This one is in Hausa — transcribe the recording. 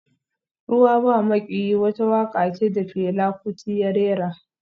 Ruwa ba maƙiyi wata waƙa ce da Fela Kuti ya rera